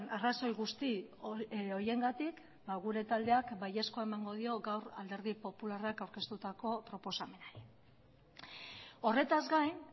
arrazoi guzti horiengatik gure taldeak baiezkoa emango dio gaur alderdi popularrak aurkeztutako proposamenari horretaz gain